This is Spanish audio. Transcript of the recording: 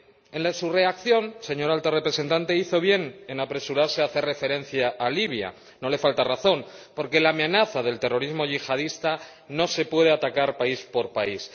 En su reacción, señora Alta Representante, hizo bien en apresurarse a hacer referencia a Libia, no le falta razón, porque la amenaza del terrorismo yihadista no se puede atacar país por país.